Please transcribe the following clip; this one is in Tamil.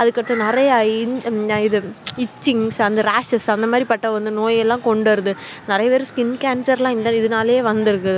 அதுக்க அடுத்த நெறைய ஹம் இது அஹ் iththinkingsraces அந்த மாதிரி கொண்ட நோய் லாம் வருது நெறைய பேருக்கு இதுனாலே skin cancer லம் வந்துருக்கு